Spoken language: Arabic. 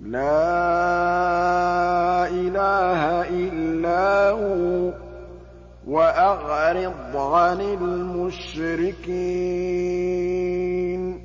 لَا إِلَٰهَ إِلَّا هُوَ ۖ وَأَعْرِضْ عَنِ الْمُشْرِكِينَ